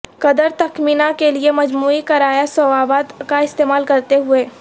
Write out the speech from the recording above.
قدر تخمینہ کے لئے مجموعی کرایہ ضوابط کا استعمال کرتے ہوئے